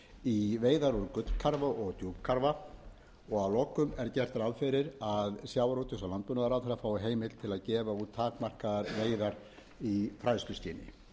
í veiðar úr gullkarfa og djúpkarfa að lokum er gert ráð fyrir að sjávarútvegs og landbúnaðarráðherra fái heimild til að gefa út takmarkaðar veiðar í fræðsluskyni